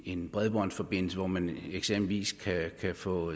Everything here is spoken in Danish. en bredbåndsforbindelse hvor man eksempelvis kan få